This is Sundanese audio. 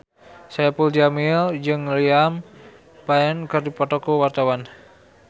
Saipul Jamil jeung Liam Payne keur dipoto ku wartawan